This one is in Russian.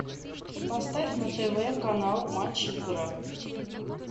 поставь на тв канал матч игра